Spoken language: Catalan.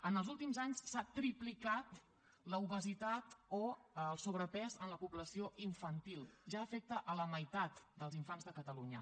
en els últims anys s’ha triplicat l’obesitat o el sobrepès en la població infantil ja afecta la meitat dels infants de catalunya